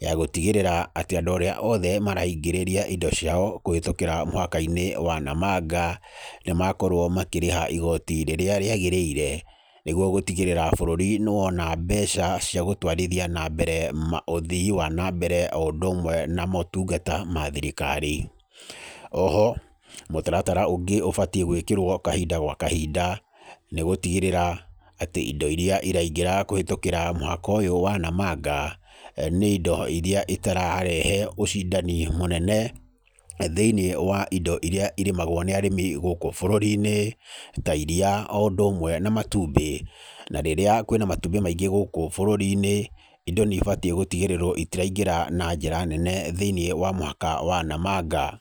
ya gũtigĩrĩra atĩ andũ arĩa othe maraingĩrĩria indo ciao kũhĩtũkĩra mũhaka-inĩ wa Namanga, nĩ makorwo makĩrĩha igoti rĩrĩa rĩagĩrĩire, nĩguo gũtigĩrĩra bũrũri nĩ wona mbeca cia gũtwarithia na mbere maũthii wa na mbere o ũndũ ũmwe na motungata ma thirikari. Oho, mũtaratara ũngĩ ũbatiĩ gwĩkĩrwo kahinda gwa kahinda, nĩ gũtigĩrĩra, atĩ indo irĩa iraingĩra kũhĩtũkĩra mũhaka ũyũ wa Namanga, nĩ indo irĩa itararehe ũcindani mũnene, thĩiniĩ wa indo irĩa irĩmagũo nĩ arĩmi gũkũ bũrũri-inĩ, ta iriia o ũndũ ũmwe na matumbĩ. Na rĩrĩa kwĩna matumbĩ maingĩ gũkũ bũrũri-inĩ, indo nĩ ibatiĩ gũtigĩrĩrwo itiraingĩra na njĩra nene thĩiniĩ wa mũhaka wa Namanga.